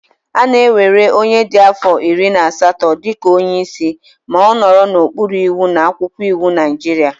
A na-ewere onye dị afọ iri na asatọ dị ka onye isi ma ọ nọ n'okpuru iwu na akwụkwọ iwu Naijiria